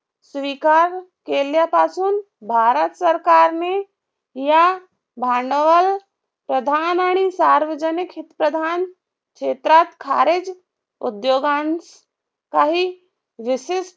स्वीकार केल्यापासून भारत सरकारने या भांडवल प्रधान आणि सार्वजनिक हितप्रधान शेत्रात खारेज उद्योगांतकाही विशिष्ट